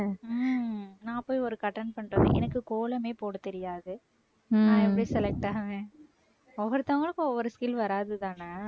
உம் நான் போய் ஒரு attend பண்ணறப்ப எனக்கு கோலமே போட தெரியாது நான் எப்பிடி select ஆவேன் ஒவ்வொருத்தவங்களுக்கும் ஒவ்வொரு skill வராதுதானே